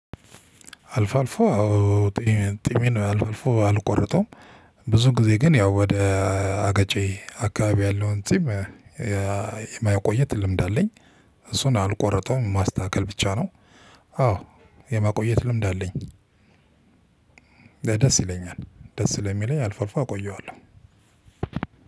አልፎ አልፎ አዎ ጢሚ ጢሚን አልፎ አልፎ አልቆረጠውም ብዙ ጊዜ ግን ያው ወደ አገጬ አካባቢ ያለውን ጺም የማቆየት ልምድ አለኝ። እሱን አልቆረጠውም ማስተካከል ብቻ ነው። አዎ የማቆየት ልምድ አለኝ። ደስ ይለኛል ደስ ስለሚለኝ አልፎ አልፎ አቆየዋለሁ።